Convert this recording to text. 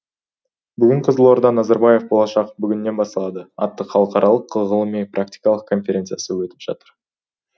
бүгін қызылорда назарбаев болашақ бүгіннен басталады атты халықаралық ғылыми практикалық конференциясы өтіп жатыр